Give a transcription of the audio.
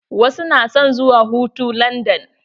Wasu na son zuwa hutu landan.